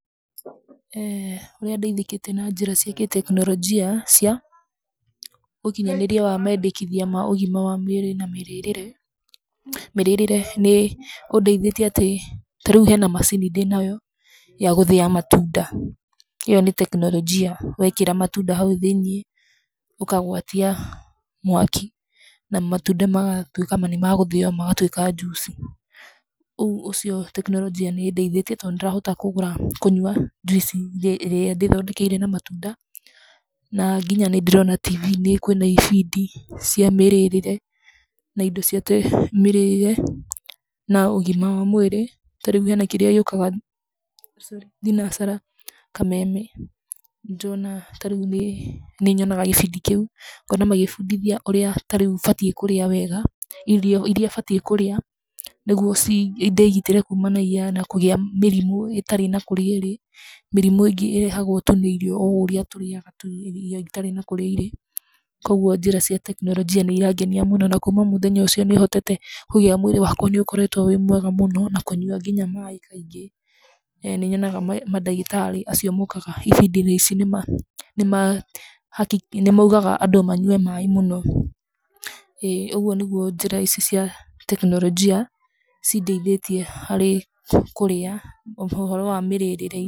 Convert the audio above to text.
Ũrĩa ndeĩthĩkĩte na njĩra cia kĩtekinoronjĩa cia ũkinyanĩria wa mendekĩthia ma ũgĩma mwega wa mwĩrĩ na mĩrĩĩre. Mĩríĩre nĩ ũndeithĩtie atĩ ta rĩũ hena macĩnĩ ndĩnayo yagũthia matũnda iyo nĩ tekinoronjĩ wekĩra matũnda haũ thĩĩnie ũkagwatia mwakĩ na matũnda magatũĩka nĩmegũthio magatũika juĩcĩ ũgũo tekinoronjĩ nĩ ĩndĩithetie to nĩ ndĩrahota kũnyũa jũĩci ĩrĩa ndĩthondekeire na matũnda na nginya nĩ ndĩrona kwĩna ĩbindĩ cia mĩrĩĩre na indo cia mĩrĩĩre na ũgima wa mwĩri ta rĩu hena kĩria gĩũkaga thinacara kameme, tarĩu nĩ nyonaga magĩbundĩthia ũrĩa tareũ batíĩ nĩ kũría wega, ĩrio ĩrĩa batie kũrĩa nĩgũo ndĩgĩtĩrĩ kũgia mĩrĩmu ĩtarĩ na kũria ĩrĩ, mĩrĩmũ ingĩ ĩrehagwo tu nĩ irĩo o ũrĩa tũrĩaga, kwogũo njĩra cia tekinoronjĩa nĩ ĩrangenĩa mũno na kũma mũthenya ũcio mwĩrĩ wakwa nĩ ũhotete gũkorwo wĩ mwega mũno na nginya kũnyũa nginya maĩ maingi nĩnyonaga madagitari acio mokaga ĩbindi-inĩ icio nĩmaũgaga andũ manyũe maĩ mũno ũgũo nĩgũo njĩra icĩ cia tekinoronjĩa cĩndeithíĩtie harĩ kũria, ũhoro wa mĩrĩĩre.